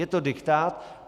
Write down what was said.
Je to diktát.